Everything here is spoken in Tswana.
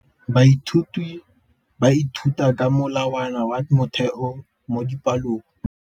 Baithuti ba ithuta ka molawana wa motheo mo dipalong.